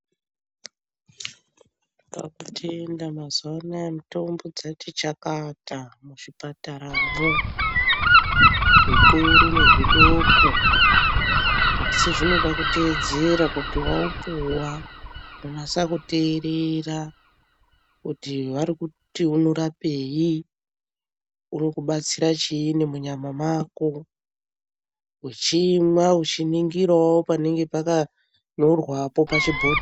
Tinotenda mazuwa anoya mitombo dzati chakata muzvipataramwo zvikuru nezvidoko asi zvinode kuteedzera kuti waupuwa kunase kuteerera kuti varikuti norapei urikubatsira chiinyi munyama mwako uchimwa uchiningirawo panenge pakanyorwapo pachibhohleyapo.